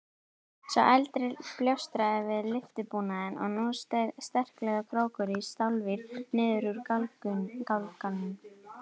Sá eldri bjástraði við lyftubúnaðinn og nú seig sterklegur krókur í stálvír niður úr gálganum.